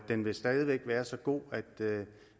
den vil stadig væk være så god